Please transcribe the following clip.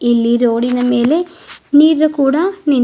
ಇಲ್ಲಿ ರೋಡಿನ ಮೇಲೆ ನೀರು ಕೂಡ ನಿನ್--